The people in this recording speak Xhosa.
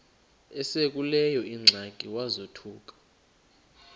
esekuleyo ingxaki wazothuka